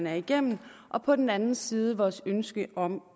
er igennem og på den anden side vores ønske om